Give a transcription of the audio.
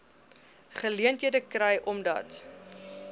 geleenthede kry omdat